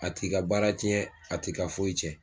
A t'i ka baara ciɲɛn a t'i ka foyi cɛn